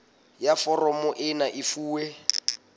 ya foromo ena e fuwe